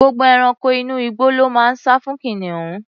Gbogbo ẹranko inú igbó ló máa ń sá fún kìnìún.